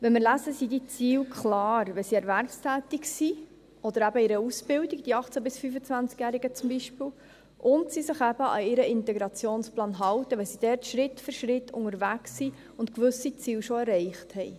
Wenn wir dies lesen, sind diese Ziele klar: wenn sie erwerbstätig sind oder eben in einer Ausbildung, zum Beispiel die 18- bis 25-Jährigen, und sie sich eben an ihren Integrationsplan halten, wenn sie dort Schritt für Schritt unterwegs sind und gewisse Ziele schon erreicht haben.